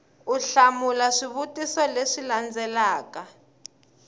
u hlamula swivutiso leswi landzelaka